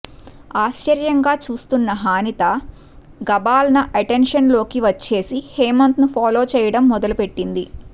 ఆశ్చర్యంగా చూస్తున్న హానిత గాభాల్న అటెన్షన్ లోకి వచ్చేసి హేమంత్ ని ఫాలో చేయడం మొదలుపెట్టింది